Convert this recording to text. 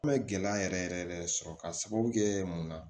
An bɛ gɛlɛya yɛrɛ yɛrɛ yɛrɛ sɔrɔ k'a sababu kɛ mun na